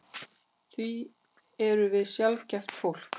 Því við erum sjaldgæft fólk.